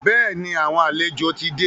Bẹ́ẹ̀ni, àwọn àlejò ti dé.